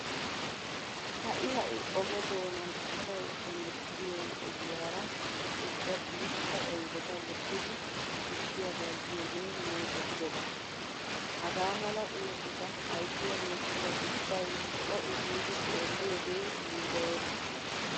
Ha"i ha"i oge doonan asay hemettiyo ogiyara ubba guutta oydeta wottidi tukkiya bayzziyogee meezetidoba. Hagaa mala oosota ayssiyageetuura ubbay co"u giidi xeelliyogee yiilloyees.